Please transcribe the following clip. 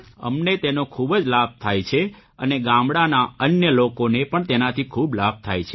અમને તેનો ખૂબ જ લાભ થાય છે અને ગામડાંના અન્ય લોકોને પણ તેનાથી ખૂબ લાભ થાય છે